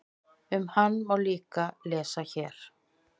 Um hann má líka lesa hér.